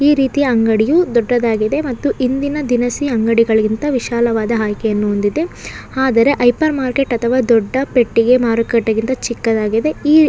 ಈ ರೀತಿ ಅಂಗಡಿಯು ದೊಡ್ಡದಾಗಿದೆ ಮತ್ತು ಇಂದಿನ ದಿನಿಸಿ ಅಂಗಡಿಗಳಿಂದ ವಿಶಾಲವಾದ ಹಾಗಿದೆಆದರೆ ಹೈಪರ್ ಮಾರ್ಕೆಟ್ ಅಥವಾ ದೊಡ್ಡ ಪೆಟ್ಟಿಗೆ ಮಾರುಕಟ್ಟೆಯಿಂದ ಚಿಕ್ಕದಾಗಿದೆಇಲ್ಲಿ--